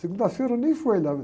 Segunda-feira eu nem fui olhar.